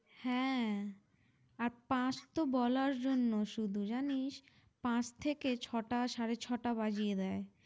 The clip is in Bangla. হ্যাঁ আর পাঁচ তো বলার জন্য শুধু জানিস, পাঁচ থেকে ছটা সাড়ে ছটা বাজিয়ে দেয়।